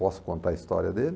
Posso contar a história dele?